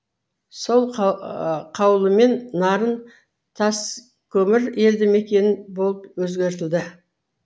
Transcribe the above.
сол қаулымен нарын таскөмір елді мекені болып өзгертілді